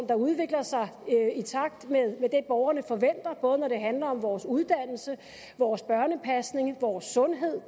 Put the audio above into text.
der udvikler sig i takt med det borgerne forventer både når det handler om vores uddannelse vores børnepasning vores sundhed